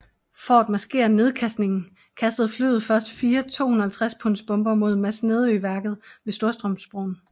For at maskere nedkastningen kastede flyet først fire 250 punds bomber mod Masnedøværket ved Storstrømsbroen